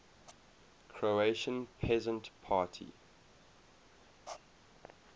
croatian peasant party